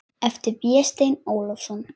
eftir Véstein Ólason.